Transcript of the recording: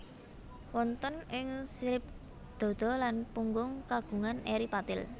Wonten ing sirip dada lan punggung kagungan eri patil